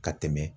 Ka tɛmɛ